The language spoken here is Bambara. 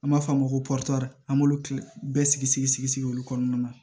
An b'a f'a ma ko an b'olu kilen bɛɛ sigi sigi sigi sigi sigi sigi olu kɔnɔna na